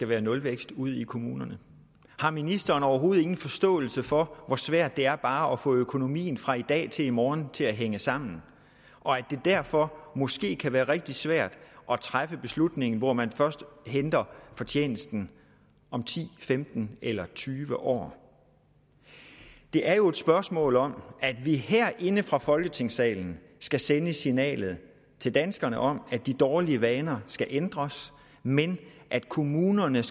være nulvækst ude i kommunerne har ministeren overhovedet ingen forståelse for hvor svært det er bare at få økonomien fra i dag til morgen til at hænge sammen og at det derfor måske kan være rigtig svært at træffe en beslutning hvor man først henter fortjenesten om ti femten eller tyve år det er jo et spørgsmål om at vi herinde fra folketingssalen skal sende signalet til danskerne om at de dårlige vaner skal ændres men at kommunerne